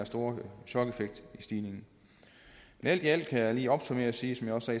store chokeffekt i stigningen men alt i alt kan jeg lige opsummere og sige som jeg også